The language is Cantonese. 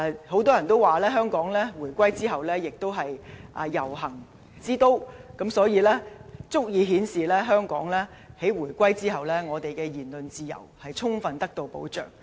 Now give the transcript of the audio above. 很多人都說，香港回歸後亦都是"遊行之都"，足以顯示香港在回歸後，我們的言論自由充分得到保障。